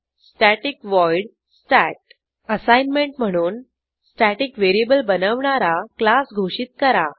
static void stat assignment म्हणून static variable बनवणारा class घोषित करा